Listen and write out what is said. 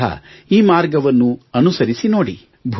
ನೀವೂ ಸಹ ಈ ಮಾರ್ಗವನ್ನು ಅನುಸರಿಸಿ ನೋಡಿ